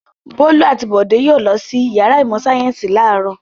Bólú àti Bọ̀dé yóò lọ sí ìyàrá ìmọ̀-sáyẹ́ńsì láàárọ̀.